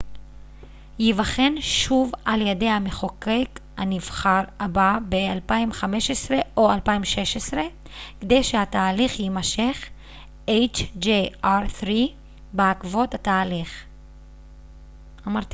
בעקבות התהליך hjr-3 ייבחן שוב על ידי המחוקק הנבחר הבא ב-2015 או 2016 כדי שהתהליך יימשך